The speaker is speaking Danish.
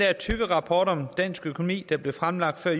tykke rapport om dansk økonomi der blev fremlagt af